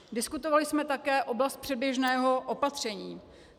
Diskutovali jsme také oblast předběžného opatření.